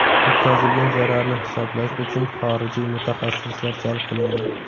yetkazilgan zararni hisoblash uchun xorijiy mutaxassislar jalb qilingan.